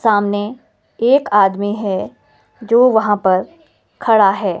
सामने एक आदमी हैं जो वहाँ पर खड़ा हैं।